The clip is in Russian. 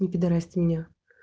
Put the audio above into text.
не пидарасьте меня